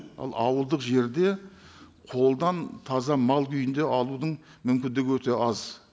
ал ауылдық жерде қолдан таза мал күйінде алудың мүмкіндігі өте аз